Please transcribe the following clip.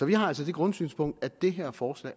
vi har altså det grundsynspunkt at det her forslag